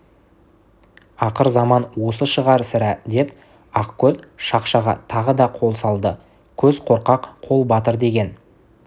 ақырзаман осы шығар сірә деп ақкөз шақшаға тағы да қол салды көз қорқақ қол батыр деген